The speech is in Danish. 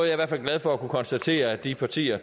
i hvert fald glad for at kunne konstatere at de partier